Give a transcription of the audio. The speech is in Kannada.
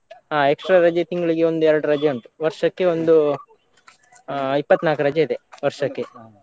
ಆ extra ರಜೆ ತಿಂಗ್ಳಿಗೆ ಒಂದು ಎರಡು ರಜೆ ಉಂಟು ವರ್ಷಕ್ಕೆ ಒಂದು ಆ ಇಪ್ಪತ್ನಾಲ್ಕು ರಜೆ ಇದೆ ವರ್ಷಕ್ಕೆ.